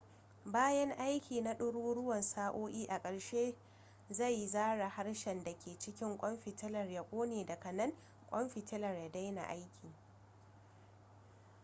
bayan aiki na ɗaruruwan sa'o'i a ƙarshe sai zaren haske da ke cikin ƙwan fitilar ya ƙone daga nan ƙwan fitilar ya daina aiki